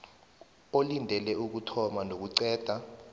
olindele ukuthoma nokuqeda